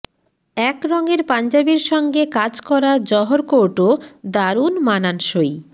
এক রঙের পাঞ্জাবির সঙ্গে কাজ করা জহর কোর্টও দারুণ মানানসই